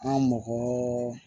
An mɔgɔ